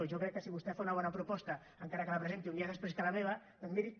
jo crec que si vostè fa una bona proposta encara que la presenti un dia després que la meva doncs